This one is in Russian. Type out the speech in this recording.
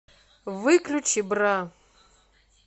выключи бра